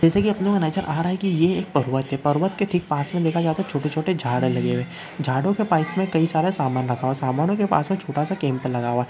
जैसा की अपने को नजर आ रहा है की ये एक पर्वत है पर्वत के ठीक पास में देखा जाए तो छोटे छोटे झाड़ है लगे हुए झाड़ो के पास में कई सारा सामान रखा हुआ है। सामानो के पास में छोटा सा केम्प लगा हुआ है।